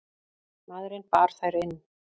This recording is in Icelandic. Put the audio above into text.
Maðurinn bar þær inn.